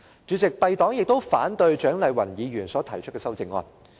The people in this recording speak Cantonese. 主席，敝黨亦反對蔣麗芸議員提出的修正案。